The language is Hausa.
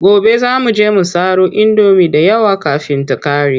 Gobe za mu je mu saro indomi da yawa kafin ta ƙare.